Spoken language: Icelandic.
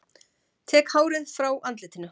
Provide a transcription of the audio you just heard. Tek hárið frá andlitinu.